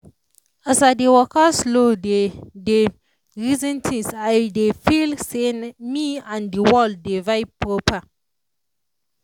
i notice say when i dey um live for the moment my anxiety no too hold me again.